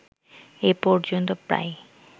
এ পর্যন্ত প্রায়